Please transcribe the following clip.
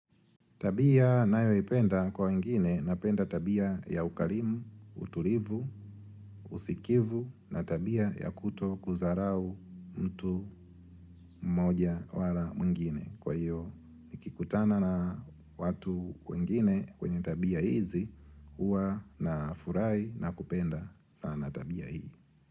Tabia nayo ipenda kwa wengine napenda tabia ya ukarimu, utulivu, usikivu na tabia ya kuto kuzarau mtu mmoja wala mwingine. Kwa hiyo nikikutana na watu wengine wenye tabia hizi huwa na furai na kupenda sana tabia hii.